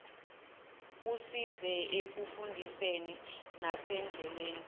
kusize ekufundiseni nasendleleni